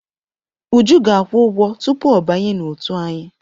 Uju ga-akwụ ụgwọ tupu ọ banye n'òtù anyị.